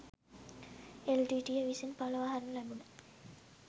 එල්.ටී.ටී.ය විසින් පලවා හරිනු ලැබුන